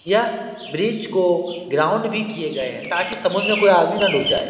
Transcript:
यह ब्रिज को ग्राउंड भी किए गए हैं ताकि समुद्र में कोई आदमी ना डूब जाए ।